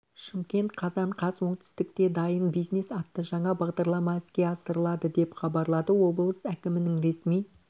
шымкент қазан қаз оңтүстікте дайын бизнес атты жаңа бағдарлама іске асырылады деп хабарлады облыс әкімінің ресми